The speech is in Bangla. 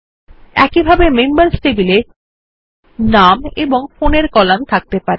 একইভাবে একটি মেম্বার্স টেবিল এ যেমন নাম এবং ফোন এর কলাম থাকতে পারে